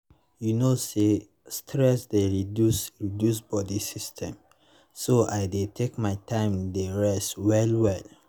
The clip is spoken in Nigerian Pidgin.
you know say stress dey reduce reduce body system so i deytake my time dey rest well well.